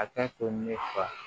A ka to ne fa